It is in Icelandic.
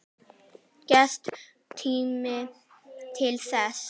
Gefst tími til þess?